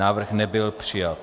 Návrh nebyl přijat.